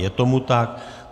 Je tomu tak.